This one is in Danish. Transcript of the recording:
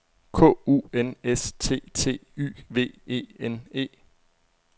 K U N S T T Y V E N E